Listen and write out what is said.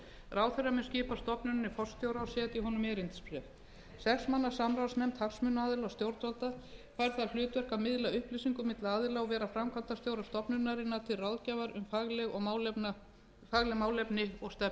ráðherra mun skipa stofnuninni forstjóra og setja honum erindisbréf sex manna samráðsnefnd hagsmunaaðila og stjórnvalda fær það hlutverk að miðla upplýsingum milli aðila og vera framkvæmdastjóra stofnunarinnar til ráðgjafar um fagleg málefni og